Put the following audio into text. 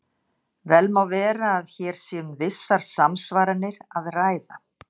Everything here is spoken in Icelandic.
Vel má vera að hér sé um vissar samsvaranir að ræða.